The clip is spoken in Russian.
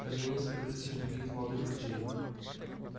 как и несколько тысяч других молодых врачей